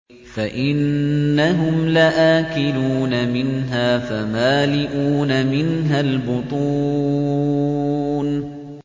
فَإِنَّهُمْ لَآكِلُونَ مِنْهَا فَمَالِئُونَ مِنْهَا الْبُطُونَ